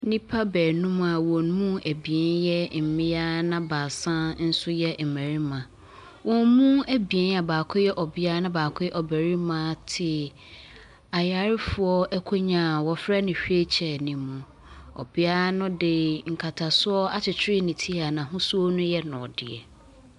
Nnipa baanum a wɔn mu abien yɛ mmea na baasa nso yɛ mmarima. Wɔn mu abie a baako yɛ ɔbea a baako yɛ ɔbea na baako yɛ ɔbarima te ayarefoɔ akonnwa a wɔfrɛ no wheel chair no mu. Ɔbea no de nkatasoɔ akyekyere ne ti a n'ahosuo no yɛ dɔteɛ.